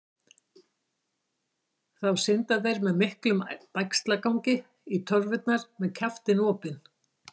Þá synda þeir með miklum bægslagangi í torfurnar með kjaftinn opinn.